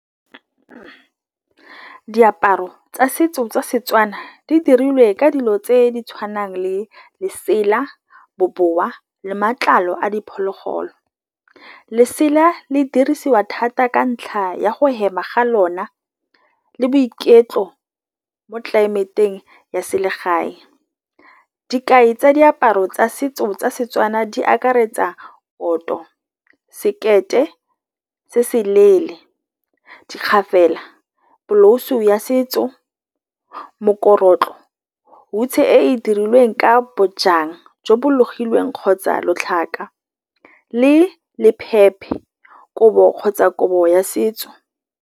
Diaparo tsa setso tsa Setswana di dirilwe ka dilo tse di tshwanang le lesela, bobowa le matlalo a diphologolo. Lesela le dirisiwa thata ka ntlha ya go hema ga lona le boiketlo mo tlelaemeteng ya selegae. Dikgai tsa diaparo tsa setso tsa Setswana di akaretsa sekete se se leele, dikgafela, bolause ya setso, mokorotlo, hutshe e e dirilweng ka bojang jo bo logilweng kgotsa lotlhaka le kobo kgotsa kobo ya setso.